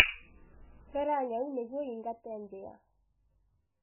Rera nyau nĩguo yĩingate mbĩa